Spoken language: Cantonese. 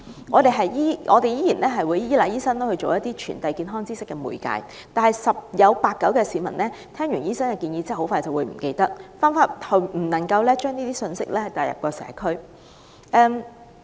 我們仍須依賴醫生充當傳遞健康知識的媒介，但十有八九的市民在聽罷醫生的建議後迅即忘記，不能把相關信息帶入社區。